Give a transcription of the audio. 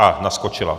A naskočila.